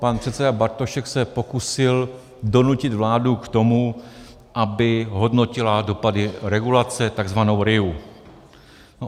Pan předseda Bartošek se pokusil donutit vládu k tomu, aby hodnotila dopady regulace, tzv. RIA.